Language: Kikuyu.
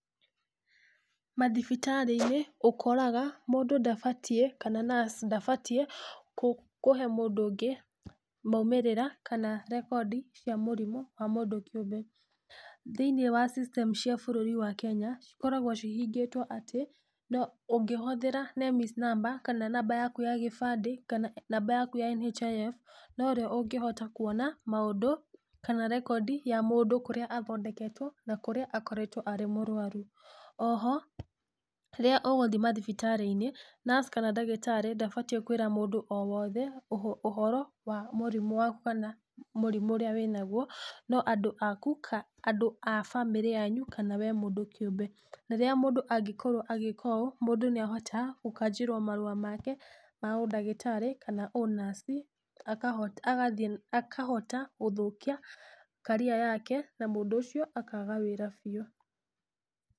Mathibitarĩ-inĩ ũkoraga mũndũ ndabatiĩ kana nurse ndabatiĩ kũhe mũndũ ũngĩ maumĩrĩra na rekondi cia mũrimũ wa mũndũ kĩũmbe. Thĩiniĩ wa system cia bũrũri wa Kenya cikoragwo cihingĩtwo atĩ ũngĩhũthĩra NEMIS namba kana namba yaku ya gĩbandĩ kana namba yaku ya NHIF no we ũngĩhota kuona maũndũ kana rekondi ya mũndũ kũrĩa athondeketwo na kũrĩa akoretwo arĩ mũrwaru. Oho rĩrĩa ũgũthiĩ mathibitarĩ-inĩ, nurse kana ndagĩtarĩ ndabatiĩ kũĩra mũndũ o wothe ũhoro wa mĩrimũ waku kana mũrimũ ũrĩa wĩ naguo. No andũ aku kana andũ a bamĩrĩ yanyu kana we mũndũ kĩũmbe. Rĩrĩa mũndũ angĩkorwo agĩka ũũ mũndũ, nĩ ahotaga gũkanjĩrwo marũa make ma ũndagĩtarĩ kana ũ nurse, akahota gũthũkia career yake na mũndũ ũcio akaga wĩra biũ.